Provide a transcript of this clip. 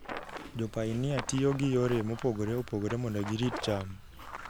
Jopainia tiyo gi yore mopogore opogore mondo girit cham.